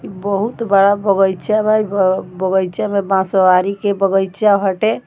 ई बहुत बड़ा बगीचा बा। ई ब बगीचा में बांसवाड़ी के बगीचा हटे।